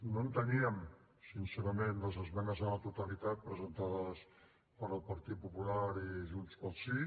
no enteníem sincerament les esmenes a la totalitat presentades pel partit popular i junts pel sí